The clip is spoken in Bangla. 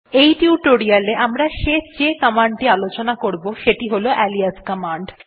এই টিউটোরিয়াল এ আমরা যে শেষ কমান্ড টি আলোচনা করবো সেটি হল আলিয়াস কমান্ড